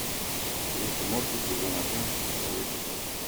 рик и морти сезон один второй эпизод